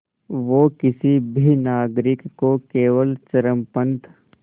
वो किसी भी नागरिक को केवल चरमपंथ